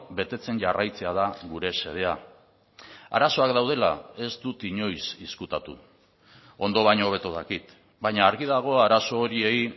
betetzen jarraitzea da gure xedea arazoak daudela ez dut inoiz ezkutatu ondo baino hobeto dakit baina argi dago arazo horiei